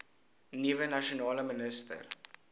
nuwe nasionale minister